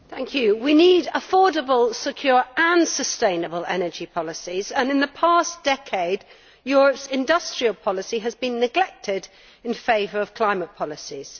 Mr President, we need affordable, secure and sustainable energy policies. In the past decade, Europe's industrial policy has been neglected in favour of climate policies.